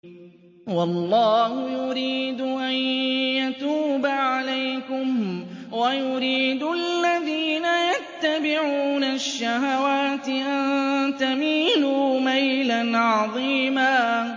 وَاللَّهُ يُرِيدُ أَن يَتُوبَ عَلَيْكُمْ وَيُرِيدُ الَّذِينَ يَتَّبِعُونَ الشَّهَوَاتِ أَن تَمِيلُوا مَيْلًا عَظِيمًا